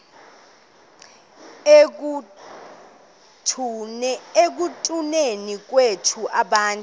ekutuneni kwethu abantu